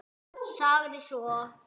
Sagði svo: